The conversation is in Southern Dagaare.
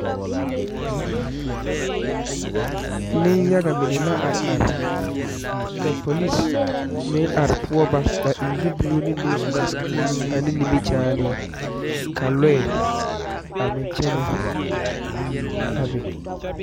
Nen yaga mine la are are, ka polise me ŋ poɔ ba a eŋ zupuli ne nyɔboor wɔ ane nimi chaane ka lɔɛ a meŋ kyɛnɛ a be.